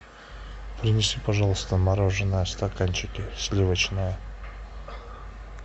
принеси пожалуйста мороженое в стаканчике сливочное